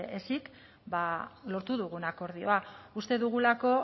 ezik lortu dugun akordioa uste dugulako